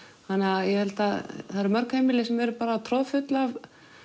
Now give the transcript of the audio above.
þannig að það eru mörg heimili sem eru troðfull af